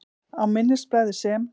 Á minnisblaði, sem